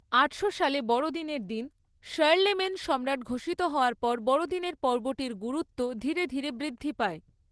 আটশো সালে বড়দিনের দিন শার্লেমেন সম্রাট ঘষিত হওয়ার পর বড়দিনের পর্বটির গুরুত্ব ধীরে ধীরে বৃদ্ধি পায়।